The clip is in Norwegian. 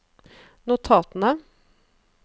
notatene